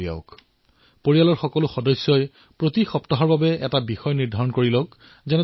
মই নিশ্চিতভাৱে আপোনালোকক আহ্বান জনাইছো যে পৰিয়ালত প্ৰতি সপ্তাহত আপোনালোকে সাধুৰ বাবে অলপ সময় উলিয়াওক